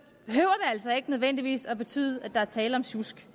ikke nødvendigvis at betyde at der er tale om sjusk